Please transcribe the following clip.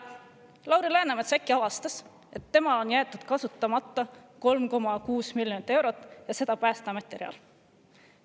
Lauri Läänemets avastas, et temal on jäetud kasutamata 3,6 miljonit eurot ja seda Päästeameti rea peal.